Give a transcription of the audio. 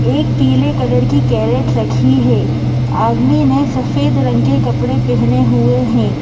एक पीले कलर की कैरेट रखी है आदमी ने सफेद रंग के कपड़े पहने हुए हैं।